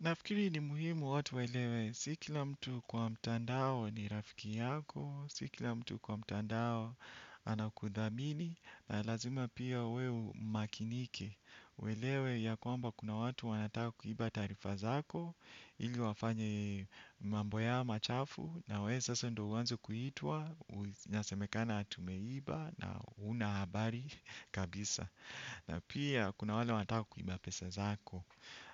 Nafikiri ni muhimu watu waelewe, si kila mtu kwa mtandao ni rafiki yako, si kila mtu kwa mtandao anakudhamini, na lazima pia we umakinike. Uelewe ya kwamba kuna watu wanataka kuiba tarifa zako, ili wafanye mambo yao machafu, na wee sasa ndio uanze kuitwa, nyasemekana ati umeiba na huna habari kabisa. Na pia kuna wale wataka kuiba pesa zako.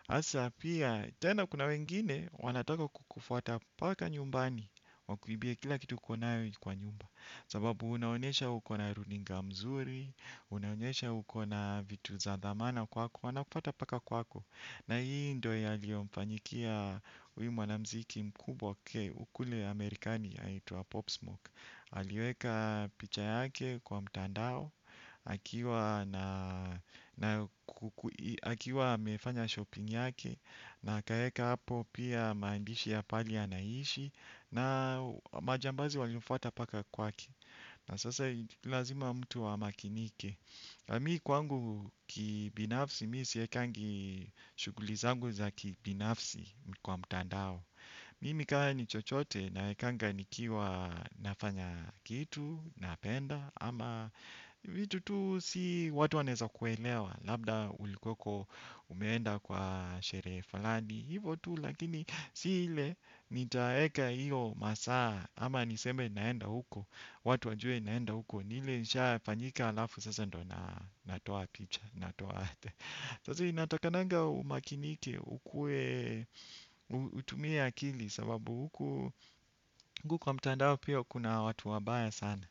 Asa pia tena kuna wengine wanataka kukufuata mpaka nyumbani wakuibie kila kitu uko nayo kwa nyumba sababu unaonesha uko na runinga mzuri. Unaonyesha uko na vitu za dhamana kwako. Wanakufuata mpaka kwako. Na hii ndo yaliomfanyikia huyy mwanamziki mkubwa kule amerikani anaitwa Popsmoke aliweka picha yake kwa mtandao. Akiwa amefanya shopping yake. Na akaeka hapo pia maandishi ya pali anaishi. Na majambazi walimfuata mpaka kwake. Na sasa lazima mtu amakinike. Mi kwangu kibinafsi mi siekangi shuguli zangu za kibinafsi kwa mutandao. Mimi kama ni chochote naekanga nikiwa nafanya kitu. Napenda ama vitu tu si watu wanaeza kuelewa. Labda ulikueko umeenda kwa sherehe falani. Hivo tu lakini si hile nitaeka hiyo masaa. Ama niseme naenda huko. Watu wajue naenda huko. Ni ile nishafanyika alafu sasa ndio na natoa picha. Natoa ate sasa inatakananga umakinike ukuwe utumie akili. Sababu huku kwa mtandao pia kuna watu wabaya sana.